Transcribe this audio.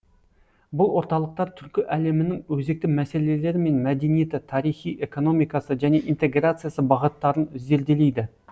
бұл орталықтар түркі әлемінің өзекті мәселелері мен мәдениеті тарихи экономикасы және интеграциясы бағыттарын зерделейді